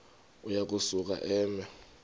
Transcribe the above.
uya kusuka eme